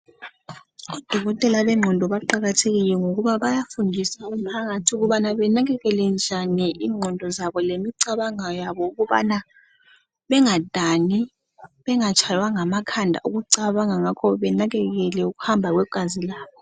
Odokotela bengqondo baqakathekile kakhulu ngokuba bayafundisa umphakathi benakekele njani ingqondo zabo lemicabango yabo ukubana bengadani bengatshaywa ngamakhanda ukucabanga njalo benakekele ukuhamba kwegazi labo